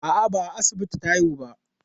A'a, ba a asibiti ta haihu ba.